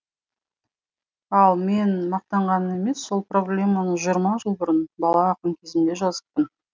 ал мен мақтанғаным емес сол проблеманы жиырма жыл бұрын бала ақын кезімде жазыппын